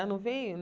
Ah não veio?